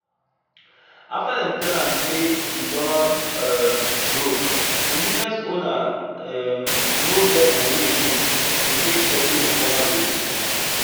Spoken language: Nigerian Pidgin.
after dem tell am say e don um broke d small business owner um no get moni again to take settle him former gbese